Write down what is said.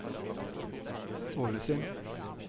Ålesund